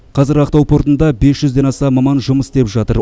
қазір ақтау портында бес жүзден аса маман жұмыс істеп жатыр